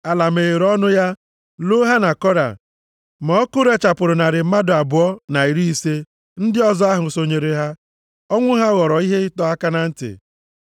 Ala meghere ọnụ ya, loo ha na Kora, ma ọkụ rechapụrụ narị mmadụ abụọ na iri ise ndị ọzọ ahụ sonyere ha. Ọnwụ ha ghọrọ ihe ịdọ aka na ntị.